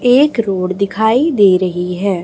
एक रोड दिखाई दे रही है।